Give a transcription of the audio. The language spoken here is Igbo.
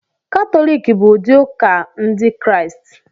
Katọlik bụ ụdị ụka Ndị Kraịst